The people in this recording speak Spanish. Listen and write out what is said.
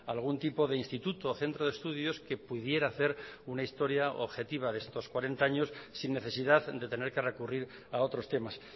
algún tipo de instituto o centro de estudios que pudiera hacer una historia objetiva de estos cuarenta años sin necesidad de tener que recurrir a otros temas